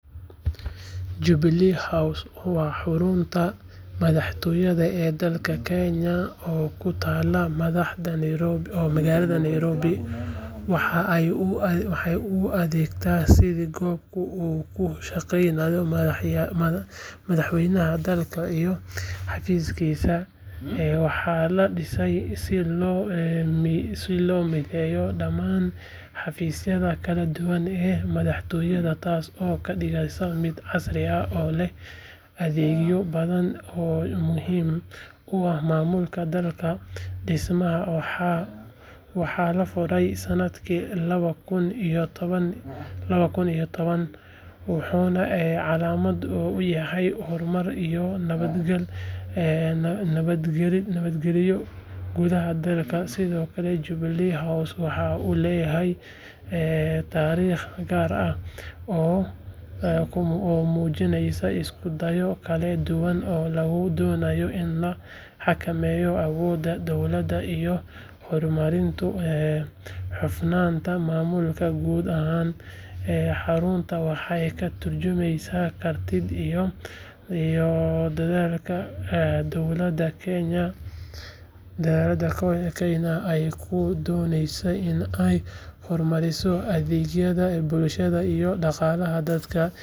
Jubilee House waa xarunta madaxtooyada ee dalka Kenya oo ku taalla magaalada Nairobi waxa ay u adeegtaa sidii goobta uu ku shaqeeyo madaxweynaha dalka iyo xafiiskiisa waxaa la dhisay si loo mideeyo dhammaan xafiisyada kala duwan ee madaxtooyada taasoo ka dhigaysa mid casri ah oo leh adeegyo badan oo muhiim u ah maamulka dalka dhismahan waxaa la furay sanadkii laba kun iyo toban wuxuuna calaamad u yahay horumar iyo nabadgelyo gudaha dalka sidoo kale Jubilee House waxa uu leeyahay taariikh gaar ah oo muujinaysa isku dayo kala duwan oo lagu doonayey in la xakameeyo awoodda dowladda iyo horumarinta hufnaanta maamulka guud ahaan xaruntan waxay ka turjumaysaa kartida iyo dadaalka dowladda Kenya ay ku doonayso in ay horumariso adeegyada bulshada iyo dhaqaalaha dalka iyadoo sidoo kale ay tahay meel lagu qaabilo martida iyo shirarka muhiimka ah ee heer qaran iyo caalami ah.